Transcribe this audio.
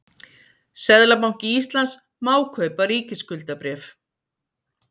seðlabanki íslands má kaupa ríkisskuldabréf